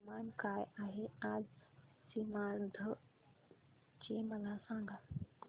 तापमान काय आहे आज सीमांध्र चे मला सांगा